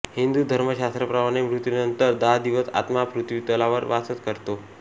हिंदू धर्मशास्त्राप्रमाणे मृत्युनंतर दहा दिवस आत्मा पृथ्वीतलावर वास करतो